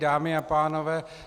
Dámy a pánové -